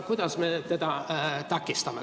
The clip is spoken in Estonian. Kuidas me teda takistame?